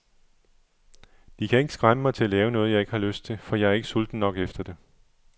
De kan ikke skræmme mig til at lave noget, jeg ikke har lyst til, for jeg er ikke sulten nok efter det.